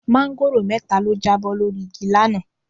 Máńgòrò mẹ́ta ló jábọ́ lórí igi lánàá.